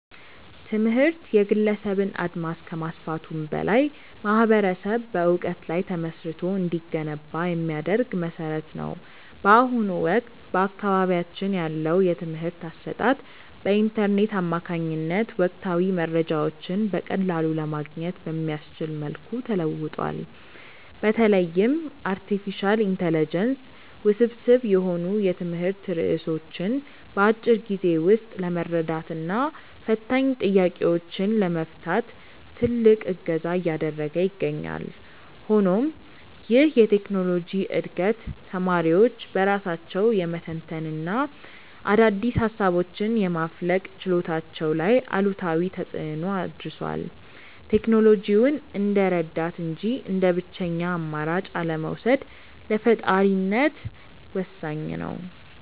ትምህርት የግለሰብን አድማስ ከማስፋቱም በላይ ማኅበረሰብ በዕውቀት ላይ ተመስርቶ እንዲገነባ የሚያደርግ መሠረት ነው። በአሁኑ ወቅት በአካባቢያችን ያለው የትምህርት አሰጣጥ በኢንተርኔት አማካኝነት ወቅታዊ መረጃዎችን በቀላሉ ለማግኘት በሚያስችል መልኩ ተለውጧል። በተለይም አርቲፊሻል ኢንተለጀንስ ውስብስብ የሆኑ የትምህርት ርዕሶችን በአጭር ጊዜ ውስጥ ለመረዳትና ፈታኝ ጥያቄዎችን ለመፍታት ትልቅ እገዛ እያደረገ ይገኛል። ሆኖም ይህ የቴክኖሎጂ ዕድገት ተማሪዎች በራሳቸው የመተንተንና አዳዲስ ሃሳቦችን የማፍለቅ ችሎታቸው ላይ አሉታዊ ተፅእኖ አድርሷል። ቴክኖሎጂውን እንደ ረዳት እንጂ እንደ ብቸኛ አማራጭ አለመውሰድ ለፈጣሪነት ወሳኝ ነው።